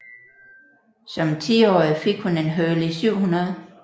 Som tiårig fik hun en Hurley 700